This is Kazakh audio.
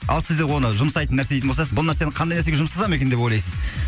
ал сіздер оны жұмсайтын нәрсе іздейтін бұл нәрсені қандай нәрсеге жұмсасам екен деп ойлайсыз